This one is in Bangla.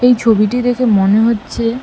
এই ছবিটি দেখে মনে হচ্ছে--